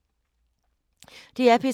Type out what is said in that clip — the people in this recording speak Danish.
DR P3